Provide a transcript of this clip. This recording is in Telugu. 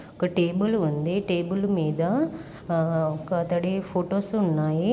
ఒక టేబుల్ ఉంది. టేబుల్ మీద ఆ ఒకతడి ఫోటోస్ ఉన్నాయి.